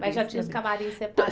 Mas já tinha os camarins